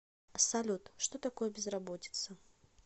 салют что такое безработица